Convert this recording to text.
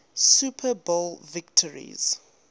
super bowl victories